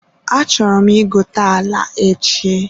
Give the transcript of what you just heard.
Achọrọ m ị gote ala echi.